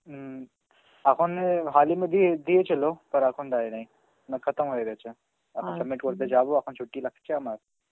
উম এখন এ Hindi মধ্যে দিয়েছিল Hindi এখন দেয় নাই, Hindi হয়ে গেছে, আমি যাব, এখন ছুট্টি লাগছে আমার.